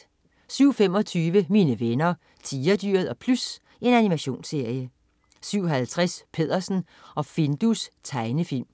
07.25 Mine venner Tigerdyret og Plys. Animationsserie 07.50 Peddersen og Findus. Tegnefilm